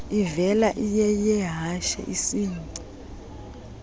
ivela iyeyehashe isingci